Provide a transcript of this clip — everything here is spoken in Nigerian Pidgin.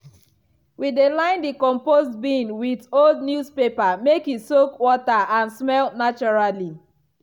we dey line the compost bin with old newspaper make e soak water and smell naturally.